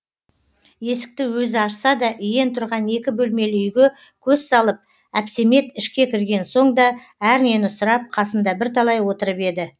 есікті өзі ашса да иен тұрған екі бөлмелі үйге көз салып әпсемет ішке кірген соң да әрнені сұрап қасында бірталай отырып еді